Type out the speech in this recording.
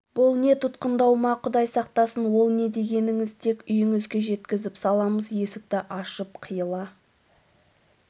бұл не тұтқындау ма құдай сақтасын ол не дегеніңіз тек үйіңізге жеткізіп саламыз есікті ашып қиыла